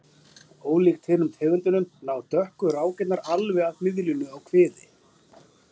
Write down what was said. Ólíkt hinum tegundunum ná dökku rákirnar alveg að miðlínu á kviði.